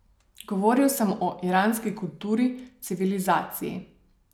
Govoril sem o iranski kulturi, civilizaciji.